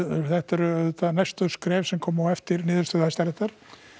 þetta eru auðvitað næstu skref sem koma á eftir niðurstöðu Hæstaréttar